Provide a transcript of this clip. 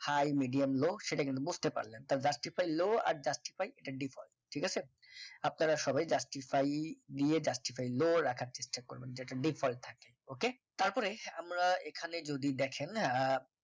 high medium low সেটা কিন্তু বুঝতে পারবেন justify low আর justify এটা default ঠিক আছে আপনারা সবাই justify ই দিয়ে justify low রাখার চেষ্টা করবেন যাতে default থাকে okay তারপরে আমরা এখানে যদি দেখেন আহ